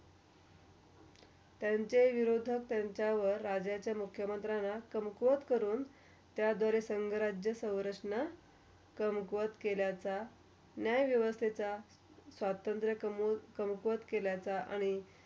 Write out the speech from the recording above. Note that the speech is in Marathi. त्यांच्या विरोधात त्यांच्यावर राज्याचा मुख्या मंत्राना कमकोत करून. त्या दर संजराज्या स्वरक्षण, कंकवत केल्याचा, न्याय व्यवसाचा, स्वतंत्र कम -कमकोवत केल्याचा आणि.